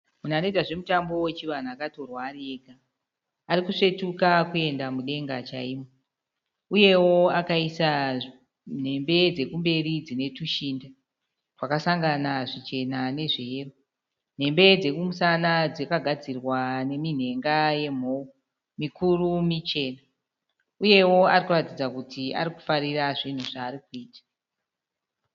Munhu anoita zvemutambo wechivanhu akatorwa ari ega. Arikusvetuka kuenda mudenga chaimo. Uyewo akaisa nhembe dzekumberi dzinetushinda twakasangana zvichena nezveyero. Nhembe dzekumusana dzakagadzira neminhenga yemhou, mikuru michena. Uyewo arikuratidza kuti arikufararira zvinhu zvaarikuita.